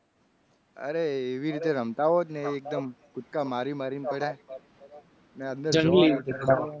અરે એવી રીતે રમતા હોત ને એકદમ કૂદકા મારી મારીને પડ્યા. અને અંદર મને ખ્યાલ છે.